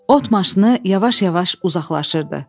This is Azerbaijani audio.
Ot maşını yavaş-yavaş uzaqlaşırdı.